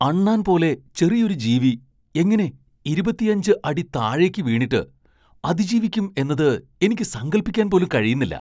അണ്ണാൻ പോലെ ചെറിയൊരു ജീവി എങ്ങനെ ഇരുപത്തിയഞ്ച് അടി താഴേക്ക് വീണിട്ട് അതിജീവിക്കും എന്നത് എനിക്ക് സങ്കൽപ്പിക്കാൻ പോലും കഴിയുന്നില്ല.